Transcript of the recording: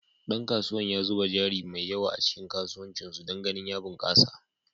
Dan kasuwan ya zuba jari mai yawa a cikin kasuwancin su don ganin ya bunkasa.